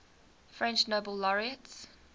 french nobel laureates